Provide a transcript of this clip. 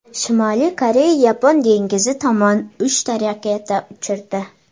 Shimoliy Koreya Yapon dengizi tomon uchta raketa uchirdi.